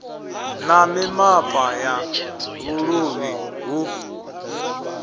na mimapa ya vhuluvhi hu